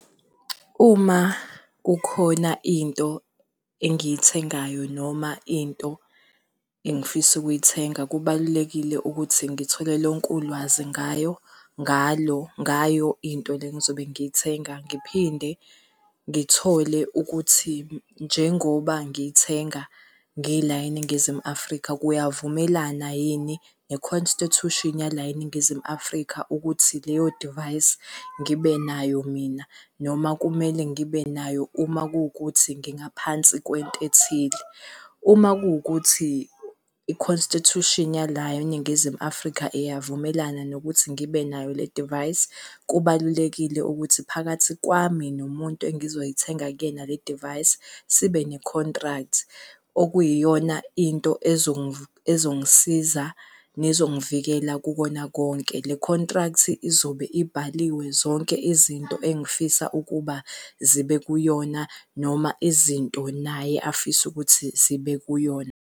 Uma kukhona into engiyithengayo noma into engifisa ukuyithenga, kubalulekile ukuthi ngithole lonke ulwazi ngayo, ngalo, ngayo into le engizobe ngiyithenga. Ngiphinde ngithole ukuthi njengoba ngiyithenga ngila eNingizimu Afrika kuyavumelana yini ne-constitution yala eNingizimu Afrika ukuthi leyo device ngibe nayo mina, noma kumele ngibe nayo uma kuwukuthi ngingaphansi kwento ethile. Uma kuwukuthi i-constitution yalapha eNingizimu Afrika iyavumelana nokuthi ngibe nayo le device, kubalulekile ukuthi phakathi kwami nomuntu engizoyithenga kuyena le device sibe ne-contract okuyiyona into ezongisiza nezongivikela kukona konke. Le contract izobe ibhaliwe zonke izinto engifisa ukuba zibe kuyona, noma izinto naye afise ukuthi zibe kuyona.